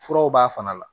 Furaw b'a fana la